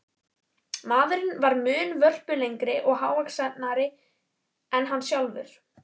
Maðurinn var mun vörpulegri og hávaxnari en hann sjálfur.